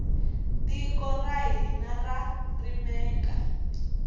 tiko ra hina ra rimeka